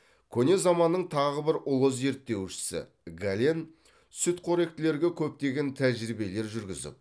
көне заманның тағы бір ұлы зерттеушісі гален сүтқоректілерге көптеген тәжірибелер жүргізіп